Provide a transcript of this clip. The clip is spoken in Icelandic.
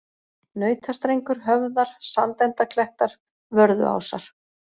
Nautastrengur, Höfðar, Sandendaklettar, Vörðuásar